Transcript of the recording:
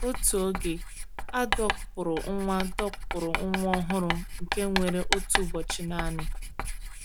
Otu oge, a dọkpụụrụ nwa dọkpụụrụ nwa ọhụrụ nke nwere otu ụbọchị naanị.